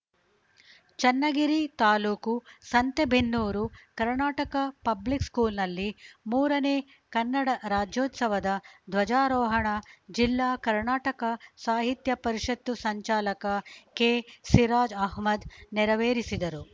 ಚನ್ನಗಿರಿ ತಾ ಸಂತೆಬೆನ್ನೂರು ಕರ್ನಾಟಕ ಪಬ್ಲಿಕ್‌ ಸ್ಕೂಲ್‌ನಲ್ಲಿ ಮೂರನೇ ಕನ್ನಡ ರಾಜ್ಯೋತ್ಸವದ ಧ್ವಜಾರೋಹಣ ಜಿಲ್ಲಾ ಕರ್ನಾಟಕ ಸಾಹಿತ್ಯ ಪರಿಷತ್ತು ಸಂಚಾಲಕ ಕೆಸಿರಾಜ್‌ ಅಹ್ಮದ್‌ ನೆರವೇರಿಸಿದರು